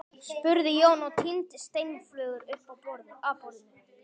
spurði Jón og tíndi steinflögur upp af borðinu.